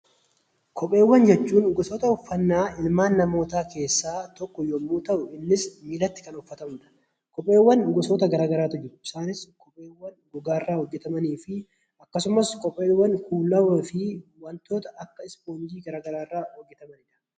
Kopheewwan jechuun gosoota uffannaa ilmaan namootaa keessaa tokko yommuu ta'u innis miillatti kan uffatamudha. Kopheewwan gosa gara garaatu jiru. Isaanis ,kopheewwan gogaa irraa hojjetamanii fi kopheewwan kuullawaa fi wantoota akka ispoonjii gara garaa irraa hojjetamanidha.